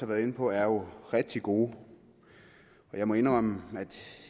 været inde på er jo rigtig gode jeg må indrømme at